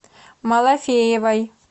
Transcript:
малафеевой